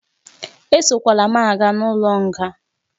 Esokwala m aga n'ụlọ nga